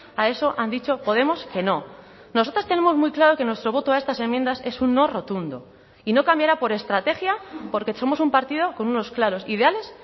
a eso han dicho podemos que no nosotras tenemos muy claro que nuestro voto a estas enmiendas es un no rotundo y no cambiará por estrategia porque somos un partido con unos claros ideales